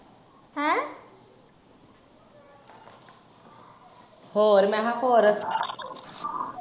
ਹੋਰ ਮੈਂ ਕਿਹਾ ਹੋਰ?